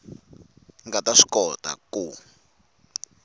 nga ta swi kota ku